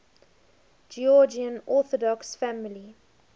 georgian orthodox family